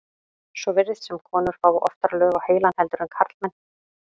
svo virðist sem konur fái oftar lög á heilann heldur en karlmenn